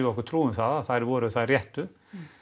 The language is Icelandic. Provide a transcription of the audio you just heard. okkur trú um að þær væru þær réttu